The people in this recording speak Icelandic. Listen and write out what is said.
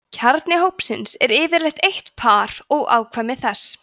kjarni hópsins er yfirleitt eitt par og afkvæmi þess